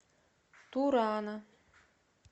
турана